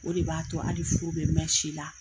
O de b'a to hali furu bɛ mɛɛn si la.